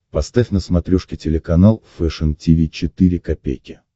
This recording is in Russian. поставь на смотрешке телеканал фэшн ти ви четыре ка